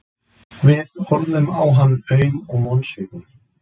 Við horfðum á hann aum og vonsvikin.